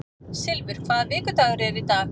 Silfur, hvaða vikudagur er í dag?